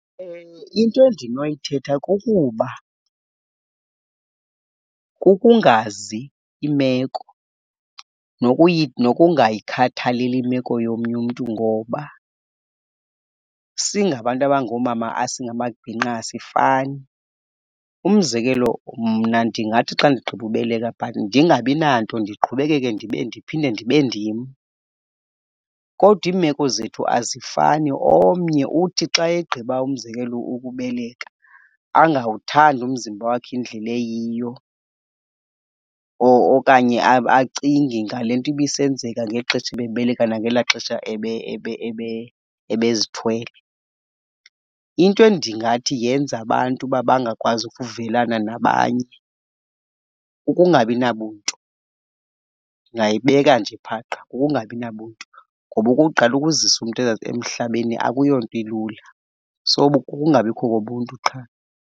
Into endinoyithetha kukuba kukungazi imeko nokungayikhathaleli imeko yomnye umntu ngoba singabantu abangoomama singamabhinqa asifani. Umzekelo, mna ndingathi xa ndigqiba ubeleka but ndingabi nanto ndiqhubekeke ndibe ndiphinde ndibe ndim. Kodwa imeko zethu azifani. Omnye uthi xa egqiba, umzekelo, ukubeleka angawuthandi umzimba wakhe indlela eyiyo okanye acinge ngale nto ibisenzeka ngexesha ebebeleka nangela xesha ebezithwele. Into endingathi yenza abantu uba bangakwazi ukuvelana nabanye kukungabi nabuntu. Ndingayibeka nje phaqha. Kukungabi nabuntu, ngoba okokuqala, ukuzisa umntu emhlabeni akuyonto ilula. So, kukungabikho kobuntu qha.